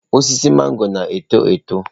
Osisi magoro na-eto eto.